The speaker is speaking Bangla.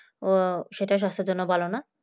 ও সেটা স্বাস্থ্যের জন্য ভালো না